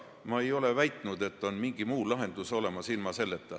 Ma ei ole väitnud, et on mingi muu lahendus ilma selleta.